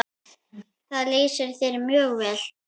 Það lýsir þér mjög vel.